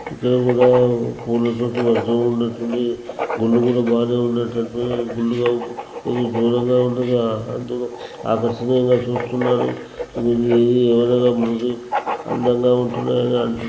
ఇక్కడ కూడా గుళ్ళు చుట్టు వర్షం ఉన్నట్టుంది. గుళ్ళు కూడా బానే ఉన్నట్టుంది. గుళ్ళుగా ఇది దూరంగా ఉండగా అందుకు ఆ కచ్చితంగా చూస్తున్నాడు. గుడి ఎదురుగా ఉంది అందంగా ఉంటున్నాయని అంటు--